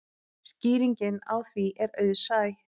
Skýringin á því er auðsæ.